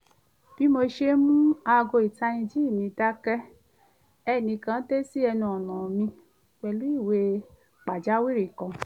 bí mo ṣe mú aago ìtanijí mi dákẹ́ ẹnìkan dé sí ẹnu ọ̀nà mi pẹ̀lú ìwé pàjáwìrì kan